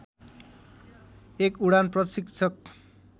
एक उडान प्रशिक्षक